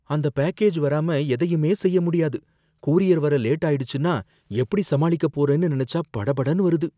அந்தப் பேக்கேஜ் வராம எதையுமே செய்ய முடியாது. கூரியர் வர லேட் ஆயிடுச்சுனா எப்படி சமாளிக்கப் போறேன்னு நெனச்சா படபடன்னு வருது.